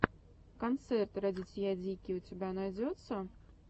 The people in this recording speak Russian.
концерт радитья дики у тебя найдется